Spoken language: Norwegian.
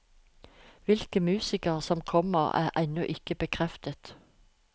Hvilke musikere som kommer, er ennå ikke bekreftet.